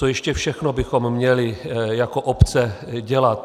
Co ještě všechno bychom měli jako obce dělat?